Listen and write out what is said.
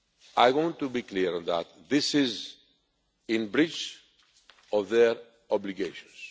I want to be clear that this is in breach of their obligations.